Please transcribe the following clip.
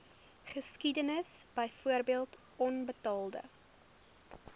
geskiedenis byvoorbeeld onbetaalde